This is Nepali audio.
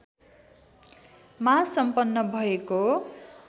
मा सम्पन्न भएको